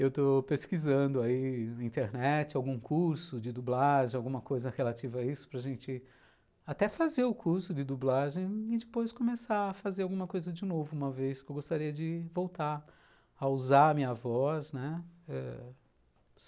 Eu estou pesquisando aí na internet algum curso de dublagem, alguma coisa relativa a isso, para a gente até fazer o curso de dublagem e depois começar a fazer alguma coisa de novo, uma vez que eu gostaria de voltar a usar a minha voz, né.